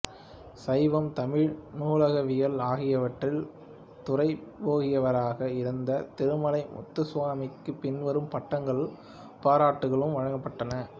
சைவம் தமிழ் நூலகவியல் ஆகியவற்றில் துறைபோகியவராக இருந்த திருமலை முத்துசுவாமிக்கு பின்வரும் பட்டங்களும் பாராட்டுகளும் வழங்கப்பட்டன